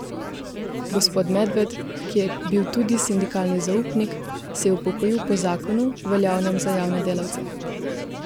Gospod Medved, ki je bil tudi sindikalni zaupnik, se je upokojil po zakonu, veljavnem za javne delavce.